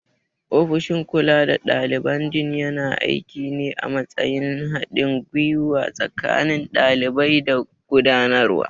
Ofishin kula da daliban Dean yana aiki ne a matsayin haɗin gwiwa tsakanin ɗalibai da gudanarwa.